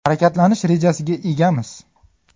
Harakatlanish rejasiga egamiz.